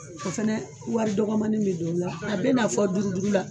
O fɛnɛ wari dɔgɔmani be don la, a be na fɔ duuru duuru la.